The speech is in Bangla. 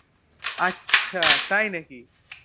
আচ্ছা তাই নাকি